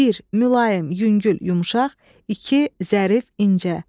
Bir, mülayim, yüngül, yumşaq, iki, zərif, incə.